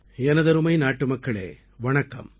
எனதருமை நாட்டுமக்களே வணக்கம்